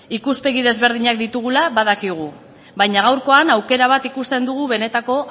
ikuspegi desberdinak ditugula badakigu baina gaurkoan aukera bat ikusten dugu benetako